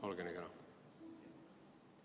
Olge nii kena!